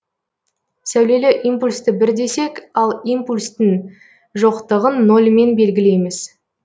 сәулелі импульсті бір десек ал импульстін жоқтыгын нольмен белгілейміз